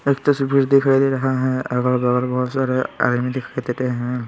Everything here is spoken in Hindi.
एक तस्वीर दिखाई दे रहा है अगल बगल बहुत सारे आदमी दिखाई दे रहे हैं।